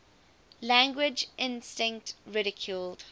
language instinct ridiculed